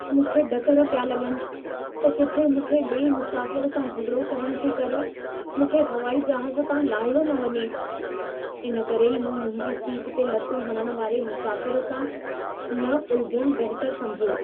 मूंखे ढकर पिया लॻनि, त किथे मूंखे ॿिए मुसाफ़िर सां झॻिड़ो करण जे करे मूंखे हवाई जहाज़ तां लाहियो न वञे। इन करे ई मूं मुंहिंजी सीट ते लतूं हणण वारे मुसाफ़िर सां न उलझण बहितर समिझियो।